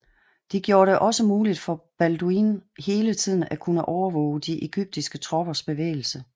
De gjorde det også muligt for Balduin hele tiden at kunne overvåge de egyptiske troppers bevægelser